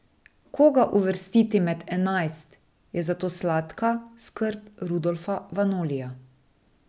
Koga uvrstiti med enajst, je zato sladka skrb Rodolfa Vanolija.